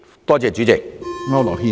多謝主席。